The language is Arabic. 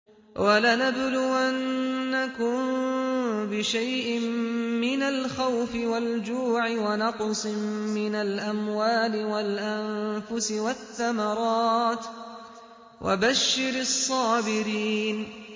وَلَنَبْلُوَنَّكُم بِشَيْءٍ مِّنَ الْخَوْفِ وَالْجُوعِ وَنَقْصٍ مِّنَ الْأَمْوَالِ وَالْأَنفُسِ وَالثَّمَرَاتِ ۗ وَبَشِّرِ الصَّابِرِينَ